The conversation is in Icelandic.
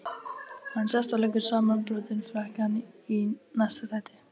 Hann sest og leggur samanbrotinn frakkann í næsta sæti.